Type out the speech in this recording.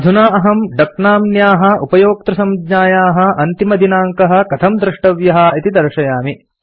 अधुना अहम् डक नाम्न्याः उपयोक्तृसंज्ञायाः अन्तिमदिनाङ्कः कथं द्रष्टव्यः इति दर्शयामि